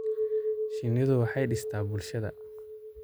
Shinnidu waxay dhistaa bulshada.